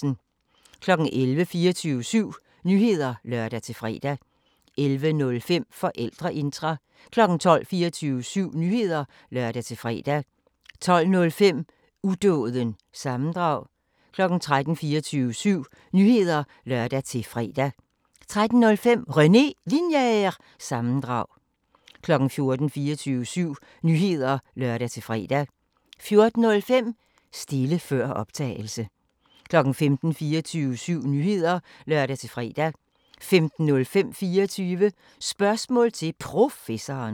11:00: 24syv Nyheder (lør-fre) 11:05: Forældreintra 12:00: 24syv Nyheder (lør-fre) 12:05: Udåden – sammendrag 13:00: 24syv Nyheder (lør-fre) 13:05: René Linjer- sammendrag 14:00: 24syv Nyheder (lør-fre) 14:05: Stile før optagelse 15:00: 24syv Nyheder (lør-fre) 15:05: 24 Spørgsmål til Professoren